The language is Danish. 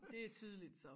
Det tydeligt så